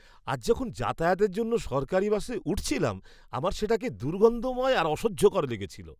আজ যখন যাতায়াতের জন্য সরকারী বাসে উঠছিলাম, আমার সেটাকে দুর্গন্ধময় আর অসহ্যকর লেগেছিল!